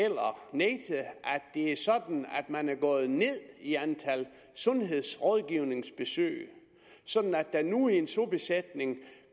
det er sådan at man er gået ned i antal af sundhedsrådgivningsbesøg sådan at der nu i en sobesætning